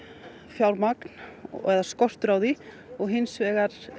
fjármagn eða skortur á því og hins vegar